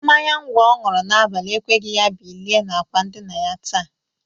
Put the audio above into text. Mmanya ngwọ ọ ñụrụ n'abalị ekweghi ya bilie n'akwa ndịna ya taa.